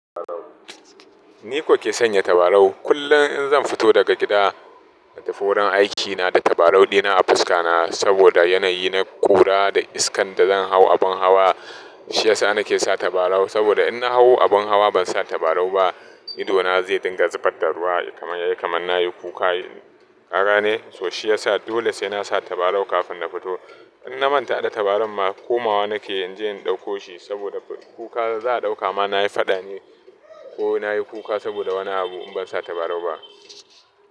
Ni kuke sanya tabarau. Kullum in zan fito daga gida, na tafi wurin aikina da tabarau ɗina a fuska na saboda yanayi na ƙura da iskan da zan hau abin hawa. Shi yasa na ke sa tabarau saboda in na hau abin hawa ban sa tabarau ba, ido na zai dinga zubar da ruwa kamar yayi kamar na yi kuka. Kaga ne? So shi yasa dole sai na sa tabarau kafin na fito. In na manta hada tabaran ma komawa na ke yanzu in dauko shi saboda kuka za a dauka ma na yi faɗa ne ko na yi kuka saboda wani abu in ban sa tabarau ba.